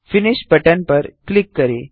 finish button पर click करें